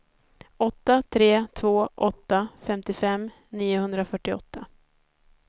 åtta tre två åtta femtiofem niohundrafyrtioåtta